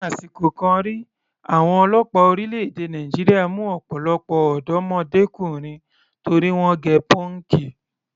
Ni àsìkò kan rí, àwọn ọlọ́pàá orílẹ̀-èdè Nàìjíríà mú ọ̀pọ̀lọpọ̀ ọ̀dọ́mọdékùnrin torí wọ́n gẹ pọ́ǹkì.